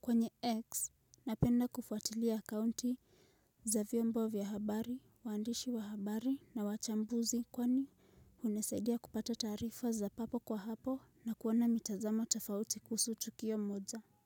kwenye X napenda kufuatilia akaunti za vyombo vya habari, waandishi wa habari na wachambuzi kwani hunisaidia kupata taarifa za papo kwa hapo na kuona mitazamo tofauti kuhusu tukio moja.